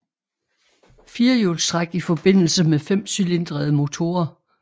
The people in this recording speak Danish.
Firehjulstræk i forbindelse med femcylindrede motorer